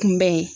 Kunbɛn